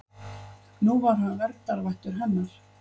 Nú var hann verndarvættur hennar.